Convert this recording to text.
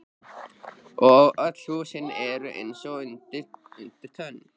Og öll hús eru eins undir tönn.